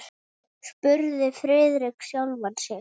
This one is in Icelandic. spurði Friðrik sjálfan sig.